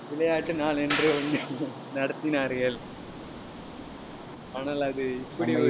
விளையாட்டு நாள் என்று ஒண்ணு நடத்தினார்கள் ஆனால், அது இப்படி